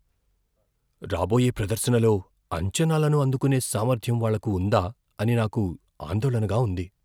రాబోయే ప్రదర్శనలో అంచనాలను అందుకునే సామర్థ్యం వాళ్లకు ఉందా అని నాకు ఆందోళనగా ఉంది.